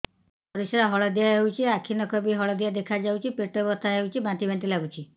ପରିସ୍ରା ହଳଦିଆ ହେଉଛି ଆଖି ନଖ ବି ହଳଦିଆ ଦେଖାଯାଉଛି ପେଟ ବଥା ହେଉଛି ବାନ୍ତି ବାନ୍ତି ଲାଗୁଛି